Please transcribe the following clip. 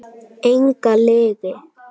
Enga lygi.